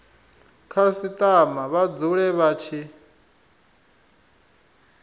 khasitama vha dzule vha tshi